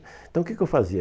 Então, o que que eu fazia?